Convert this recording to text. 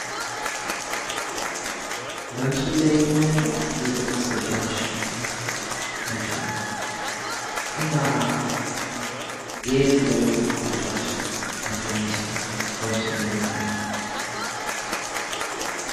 በምስሉ ላይ የምናያቸው የእግር ኳስ ተጫዋች ናቸው። እና የት ክለብ የእግር ኳስ ተጫዋች ናቸው እናዚህ በምስሉ ላይ የምናያቸው?